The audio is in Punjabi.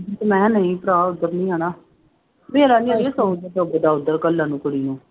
ਤੇ ਮੈਂ ਕਿਹਾ ਨਹੀਂ ਭਰਾ ਉੱਧਰ ਨੀ ਜਾਣਾ, ਮੇਰਾ ਨੀ ਆੜੀਏ ਉੱਧਰ ਘੱਲਣ ਨੂੰ ਕੁੜੀ ਨੂੰ।